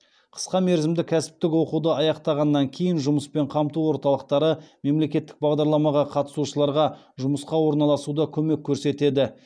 қысқа мерзімді кәсіптік оқуды аяқтағаннан кейін жұмыспен қамту орталықтары мемлекеттік бағдарламаға қатысушыларға жұмысқа орналасуда көмек көрсетеді